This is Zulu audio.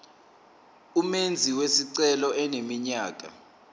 umenzi wesicelo eneminyaka